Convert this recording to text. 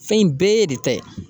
Fɛn in bɛɛ y'e de ta ye.